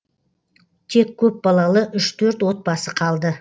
тек көпбалалы үш төрт отбасы қалды